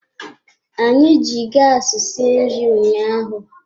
Anyị ji gaasi sie nri ụnyaahụ.